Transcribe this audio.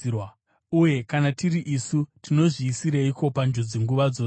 Uye kana tiri isu, tinozviisireiko panjodzi nguva dzose?